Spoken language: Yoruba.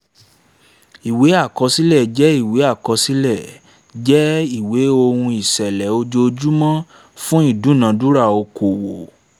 ìwé àkọsílẹ̀ jẹ́ ìwé àkọsílẹ̀ jẹ́ ìwé ohun ìṣẹ̀lẹ̀ ojojúmọ́ fún ìdúnadúrà okòowò